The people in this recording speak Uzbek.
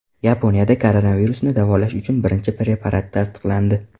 Yaponiyada koronavirusni davolash uchun birinchi preparat tasdiqlandi.